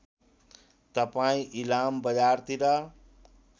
तपाईँ इलाम बजारतिर